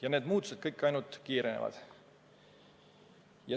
Ja need muutused kõik ainult kiirenevad.